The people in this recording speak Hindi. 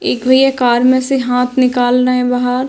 एक भैया कार में से हाथ निकाल रहे हैं बाहर।